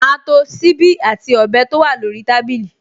Màá to ṣíbí àti ọ̀bẹ tó wà lórí tábìlì